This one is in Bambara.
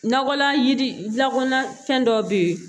Nakɔla yiri lakana fɛn dɔ bɛ yen